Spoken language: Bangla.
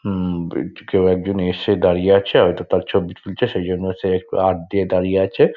হুম একটি কেউ একজন এসছে দাঁড়িয়ে আছে আর হয়তো তার ছবি তুলছে সেজন্য সে একটু হাত দিয়ে দাঁড়িয়ে আছে।